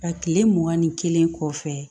A tile mugan ni kelen kɔfɛ